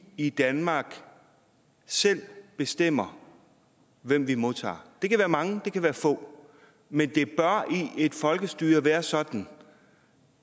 i danmark selv bestemmer hvem vi modtager det kan være mange og det kan være få men det bør i et folkestyre være sådan